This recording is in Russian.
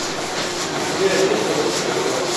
у тебя есть золотые рога